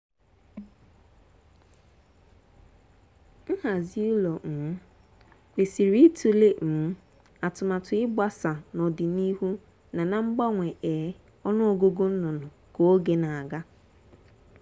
nhazi ụlọ um kwesịrị ịtụle um atụmatụ ịgbasa n’ọdịnihu na na mgbanwe um ọnụọgụ nnụnụ ka oge na-aga.